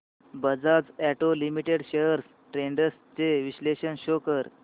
Bajaj auto limited shares trends चे विश्लेषण show कर